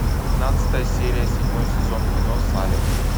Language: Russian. пятнадцатая серия седьмой сезон кино салем